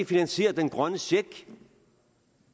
finansierer den grønne check